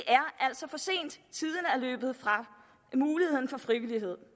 løbet fra muligheden for frivillighed